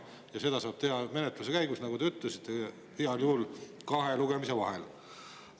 Ja seda saab teha menetluse käigus, nagu te ütlesite, heal juhul kahe lugemise vahel.